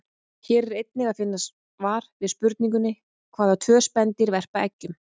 Hér er einnig að finna svar við spurningunni: Hvaða tvö spendýr verpa eggjum?